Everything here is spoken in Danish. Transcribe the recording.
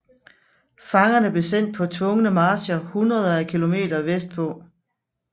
Fangerne blev sendt på tvungne marcher hundreder af kilometer vestpå